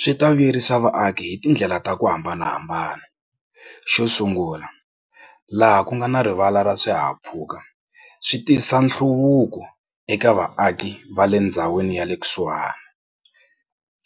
Swi ta vuyerisa vaaki hi tindlela ta ku hambanahambana. Xo sungula laha ku nga na rivala ra swihahampfhuka swi tisa nhluvuko eka vaaki va le ndhawini ya le kusuhani.